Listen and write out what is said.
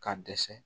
K'a dɛsɛ